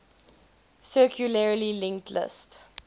circularly linked list